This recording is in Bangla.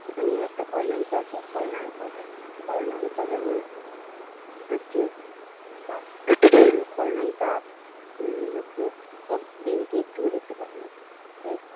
এখানে একটা খলনায়িকা আছে খলনায়ক ও আছে খলনায়িকা যেমন হচ্ছে খলনায়িকা হচ্ছে ওর দিদিকে একটুও দেখতে পারে না।